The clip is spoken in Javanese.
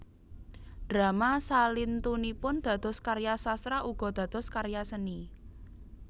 Drama salintunipun dados karya sastra uga dados karya seni